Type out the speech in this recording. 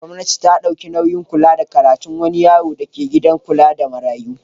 Gwamnati ta ɗauki nauyin kula da karatun wani yaro dake gidan kula da marayu.